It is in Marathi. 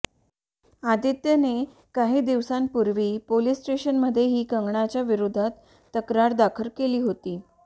आदित्यने काही दिवसांपूर्वी पोलीस स्टेशनमध्येही कंगनाच्या विरोधात तक्रार दाखल केली होती